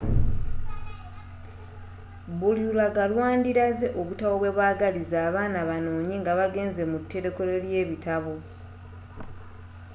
buli lulaga lwandilaze obutabo bwebagaliza abaana banoonye nga bagenze mu terekero lebitabo